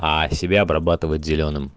а себя обрабатывать зелёным